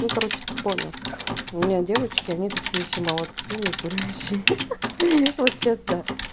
ну короче ты понял у меня девочки знаете какие все молодцы не курящие ха ха вот сейчас да